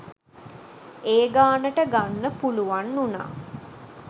ඒ ගානට ගන්න පුලුවන් උනා.